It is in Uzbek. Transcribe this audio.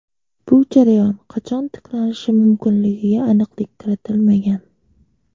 Bu jarayon qachon tiklanishi mumkinligiga aniqlik kiritilmagan.